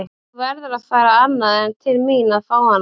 Þú verður að fara annað en til mín að fá hana.